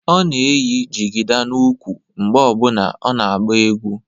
Ọ na-eyi jigida n'úkwù mgbe ọ bụla ọ na-agba egwu